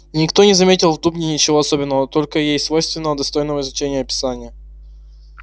и никто не заметил в дубне ничего особенного только ей свойственного достойного изучения описания